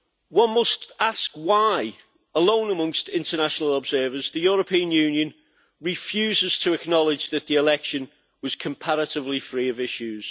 One must ask why, alone amongst international observers, the European Union refuses to acknowledge that the election was comparatively free of issues.